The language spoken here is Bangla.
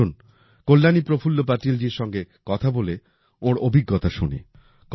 আসুন কল্যাণী প্রফুল্ল পাটিলজির সঙ্গে কথা বলে ওনার অভিজ্ঞতা শুনি